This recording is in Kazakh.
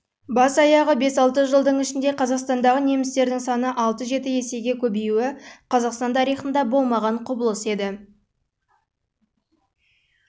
бас-аяғы бес-алты жылдың ішінде қазақстандағы немістердің саны алты-жеті есеге көбеюі қазақстан тарихында болмаған құбылыс еді